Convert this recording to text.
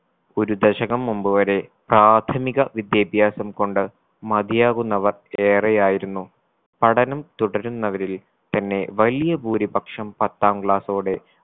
ഒരു ദശകം മുമ്പ് വരെ പ്രാഥമിക വിദ്യാഭ്യാസം കൊണ്ട് മതിയാകുന്നവർ ഏറെയായിരുന്നു പഠനം തുടരുന്നവരിൽ തന്നെ വലിയ ഭൂരിപക്ഷം പത്താം class ഓടെ